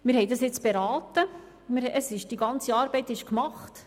Wir haben dieses nun beraten, und die ganze Arbeit ist gemacht.